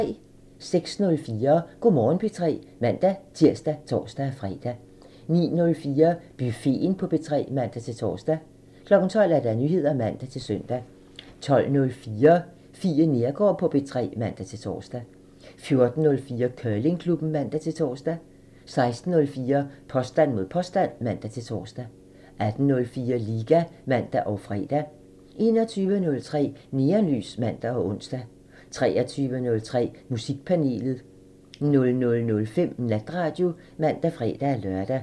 06:04: Go' Morgen P3 (man-tir og tor-fre) 09:04: Buffeten på P3 (man-tor) 12:00: Nyheder (man-søn) 12:04: Fie Neergaard på P3 (man-tor) 14:04: Curlingklubben (man-tor) 16:04: Påstand mod påstand (man-tor) 18:04: Liga (man og fre) 21:03: Neonlys (man og ons) 23:03: Musikpanelet (man) 00:05: Natradio (man og fre-lør)